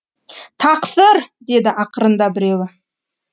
тақсыр деді ақырында біреуі